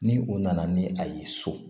Ni o nana ni a ye so